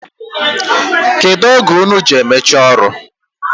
Kedụ oge unu ji emechi ọrụ?